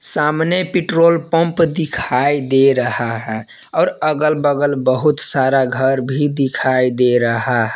सामने petrol pump दिखाई दे रहा है और अगल बगल बहुत सारा घर भी दिखाई दे रहा--